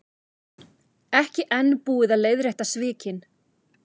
Ekki enn búið að leiðrétta svikin